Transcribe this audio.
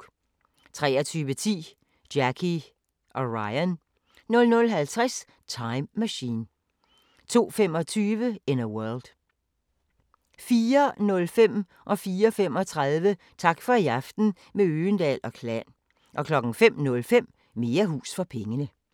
23:10: Jackie & Ryan 00:50: Time Machine 02:25: In a World ... 04:05: Tak for i aften – med Øgendahl & Klan 04:35: Tak for i aften – med Øgendahl & Klan 05:05: Mere hus for pengene